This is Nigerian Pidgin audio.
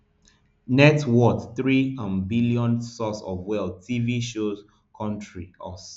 net worth three um billion source of wealth tv shows country us